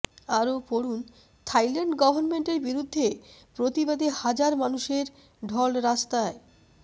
আরও পড়ুন থাইল্যান্ড গভর্মেন্টের বিরুদ্ধে প্রতিবাদে হাজার মানুষের ঢল রাস্তায়